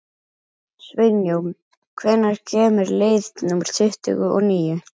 Sveinjón, hvenær kemur leið númer tuttugu og níu?